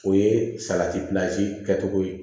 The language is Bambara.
O ye salati kɛcogo ye